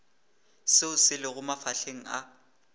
seo se lego mafahleng a